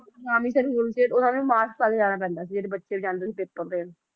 ਉਹਨਾਂ ਨੂੰ ਵੀ mask ਪਾ ਕੇ ਜਾਣਾ ਪੈਂਦਾ ਸੀ ਜਿਹੜੇ ਬੱਚੇ ਜਾਂਦੇ ਸੀ ਪੇਪਰ ਦੇਣ